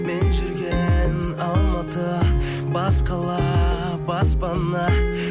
мен жүрген алматы бас қала баспана